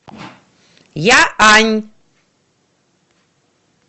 яань